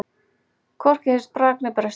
Hvorki heyrðist brak né brestur.